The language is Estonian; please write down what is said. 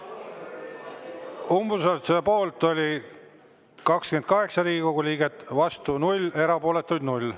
Umbusalduse poolt oli 28 Riigikogu liiget, vastu 0, erapooletuid 0.